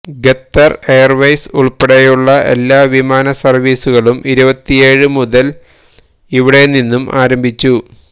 Qatar airways ഉള്പ്പെടെയുള്ള എല്ലാ വിമാന സര്വ്വീസുകളും ഇരുപത്തിയേഴ് മുതല് ഇവിടെ നിന്നും ആരംഭിച്ചു